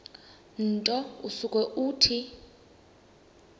nto usuke uthi